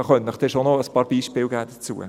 Dazu könnte ich Ihnen ein paar Beispiele geben.